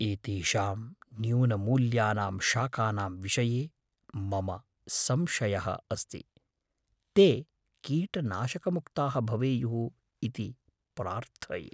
एतेषां न्यूनमूल्यानां शाकानां विषये मम संशयः अस्ति, ते कीटनाशकमुक्ताः भवेयुः इति प्रार्थये।